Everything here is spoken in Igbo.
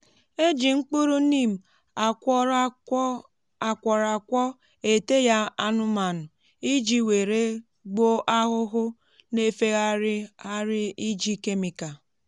éjị mkpụrụ neem akwọrọakwọ èté ya anụmanụ iji wèré gbuo ahụhụ n'éfé ghari ghari ịjì kemịkal